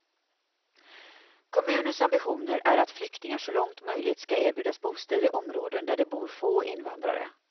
Kommunens ambitioner är att flyktingar så långt möjligt ska erbjudas bostäder i områden där det bor få invandrare.